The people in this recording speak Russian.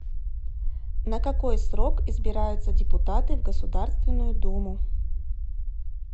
на какой срок избираются депутаты в государственную думу